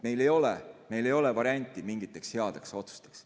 Et meil ei ole varianti teha mingeid häid otsuseid.